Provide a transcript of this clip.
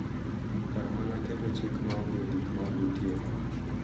Kar mana keto chik ma onge gik ma ondikie.